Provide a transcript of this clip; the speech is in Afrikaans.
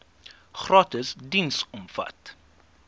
gratis diens omvat